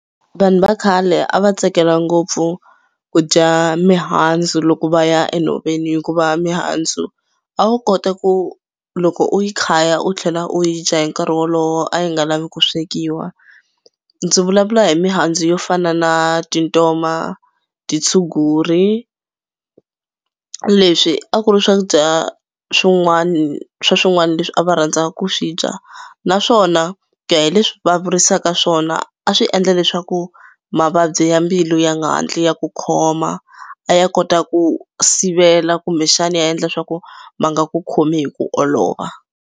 Vanhu va khale a va tsakela ngopfu ku dya mihandzu loko va ya enhoveni hikuva mihandzu a wu kota ku loko u yi khaya u tlhela u yi dya hi nkarhi wolowo a yi nga lavi ku swekiwa. Ndzi vulavula hi mihandzu yo fana na tintoma, titshunguri leswi a ku ri swakudya swin'wana swa swin'wana leswi a va rhandza ku swi dya naswona ku ya hi leswi va vurisaka swona a swi endla leswaku mavabyi ya mbilu ya nga hatli ya ku khoma. A ya kota ku sivela kumbexana ya endla swa ku ma nga ku khomi hi ku olova.